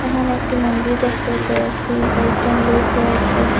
এখানে একটি মন্দির দেখতে পেয়েসি কয়েকজন লোক রয়েসে।